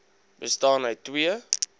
bestaan uit twee